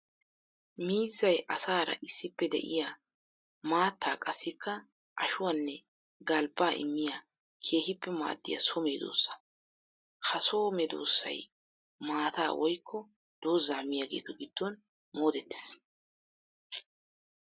Miizzay asaara issippe de'iya maattaa qassikka ashuwanne galbba immiya keehippe maadiya so medosa. Ha so meedosay maata woykko dooza miyagetu giddon mooddettees.